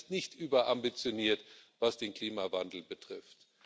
China ist nicht überambitioniert, was den Klimawandel betrifft.